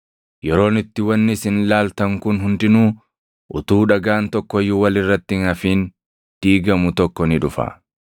“Yeroon itti wanni isin ilaaltan kun hundinuu, utuu dhagaan tokko iyyuu wal irratti hin hafin diigamu tokko ni dhufa.”